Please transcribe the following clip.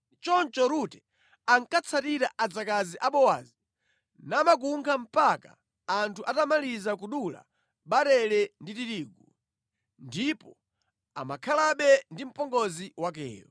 Choncho Rute ankatsatira adzakazi a Bowazi namakunkha mpaka anthu atamaliza kudula barele ndi tirigu. Ndipo amakhalabe ndi mpongozi wakeyo.